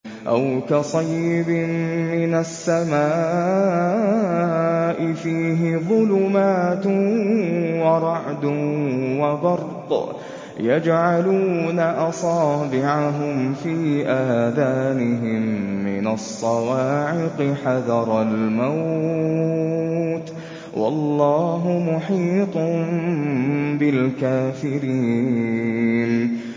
أَوْ كَصَيِّبٍ مِّنَ السَّمَاءِ فِيهِ ظُلُمَاتٌ وَرَعْدٌ وَبَرْقٌ يَجْعَلُونَ أَصَابِعَهُمْ فِي آذَانِهِم مِّنَ الصَّوَاعِقِ حَذَرَ الْمَوْتِ ۚ وَاللَّهُ مُحِيطٌ بِالْكَافِرِينَ